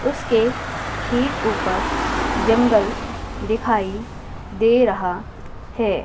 उसके ठीक ऊपर जंगल दिखाई दे रहा है।